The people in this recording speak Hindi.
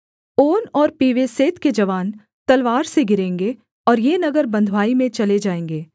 ओन और पीवेसेत के जवान तलवार से गिरेंगे और ये नगर बँधुआई में चले जाएँगे